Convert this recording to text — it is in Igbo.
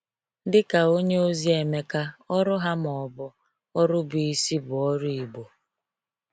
Dị ka onyeozi Emeka, ọrụ ha, ma ọ bụ ọrụ bụ isi, bụ ọrụ Igbo.